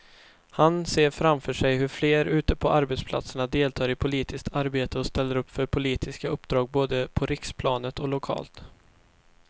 Han ser framför sig hur fler ute på arbetsplatserna deltar i politiskt arbete och ställer upp för politiska uppdrag både på riksplanet och lokalt.